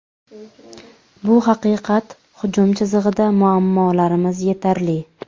Bu haqiqat, hujum chizig‘ida muammolarimiz yetarli.